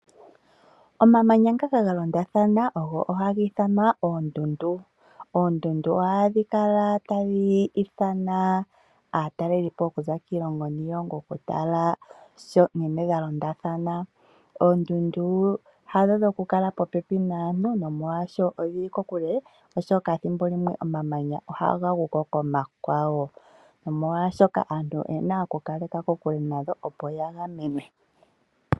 Omamanya ngoka ga londathana ohaga ithanwa oondundu . Oondundu ohadhi kala tadhi ithana aatalelipo okuza kiilongo niilongo okutala ga londathana, oshoka ethimbo limwe omamanya ohaga gu ko komakwawo nomolwashoka aantu oye na okukala kokule nago, opo ya gamenwe.